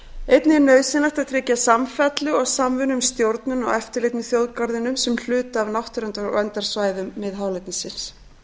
einnig er nauðsynlegt að tryggja samfellu og samvinnu um stjórnun og eftirlit með þjóðgarðinum sem hluta af náttúruverndarsvæðum miðhálendisins